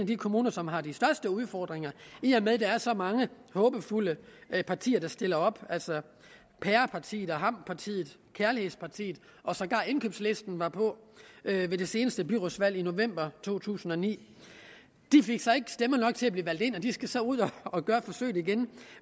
de kommuner som har de største udfordringer i og med at der er så mange håbefulde partier der stiller op altså pærepartiet og hampepartiet og kærlighedspartiet og sågar indkøbslisten var på ved det seneste byrådsvalg i november to tusind og ni de fik så ikke stemmer nok til at blive valgt ind og de skal så ud og gøre forsøget igen